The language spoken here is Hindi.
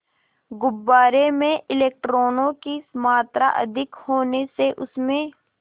गुब्बारे में इलेक्ट्रॉनों की मात्रा अधिक होने से उसमें